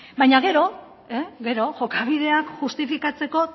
baina gero jokabideak justifikatzeko